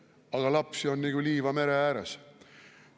–, aga lapsi on nagu liiva mere ääres.